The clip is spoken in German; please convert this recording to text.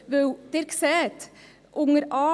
Denn Sie sehen unter a–e: